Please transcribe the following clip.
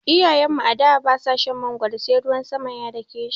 Iyayen mu a da ba su shan magwaro sai ruwan sama ya dake shi.